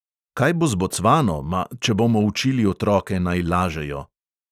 Kaj bo z bocvano, ma, če bomo učili otroke, naj lažejo?